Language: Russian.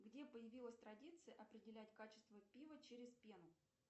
где появилась традиция определять качество пива через пену